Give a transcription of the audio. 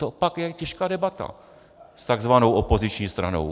To je pak těžká debata s takzvanou opoziční stranou.